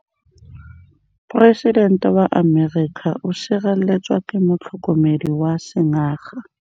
Poresitêntê wa Amerika o sireletswa ke motlhokomedi wa sengaga.